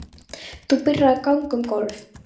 Þú byrjar að ganga um gólf.